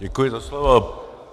Děkuji za slovo.